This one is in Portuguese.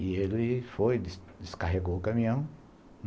E ele foi, descarregou o caminhão.